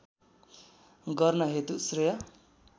गर्न हेतु श्रेय